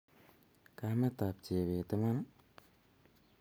kametap jebet iman?